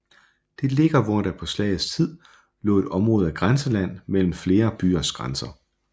Det ligger hvor der på slagets tid lå et område af grænseland mellem flere byers grænser